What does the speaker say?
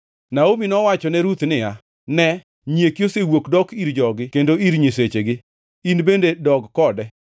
Naomi nowachone Ruth niya, “Ne, nyieki osewuok dok ir jogi kendo ir nyisechegi. In bende dog kode.”